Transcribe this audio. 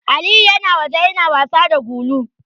Aliyu yana waje yana wasa da gulu.